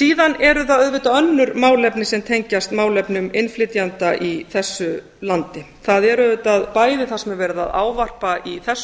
síðan eru það auðvitað önnur málefni sem tengjast málefnum innflytjenda í þessu landi það er auðvitað bæði það sem verið er að ávarpa í þessu